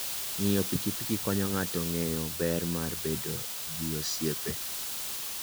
Ng'iyo pikipiki konyo ng'ato ng'eyo ber mar bedo gi osiepe.